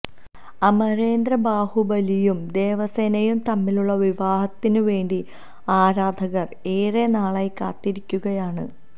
അമരേന്ദ്ര ബാഹുബലിയും ദേവസേനയും തമ്മിലുള്ള വിവാഹത്തിന് വേണ്ടി ആരാധകര് ഏറെ നാളായി കാത്തിരിക്കുകയാണ്